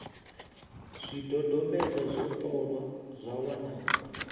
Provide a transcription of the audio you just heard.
zwidodombedzwa zwo ṱolwa zwa wanala